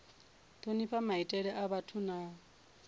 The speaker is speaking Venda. thonifha maitele a vhathu na